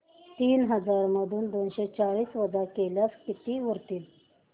तीन हजार मधून दोनशे चाळीस वजा केल्यास किती उरतील